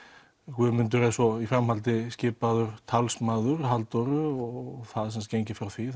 Guðmundur er svo í framhaldi skipaður talsmaður Halldóru og það er gengið frá því